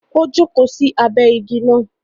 O joko sí abẹ ìgi náà